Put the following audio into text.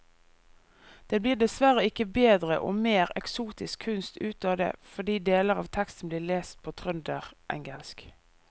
Det blir dessverre ikke bedre og mer eksotisk kunst ut av det fordi deler av teksten blir lest på trønderengelsk.